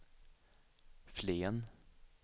Flen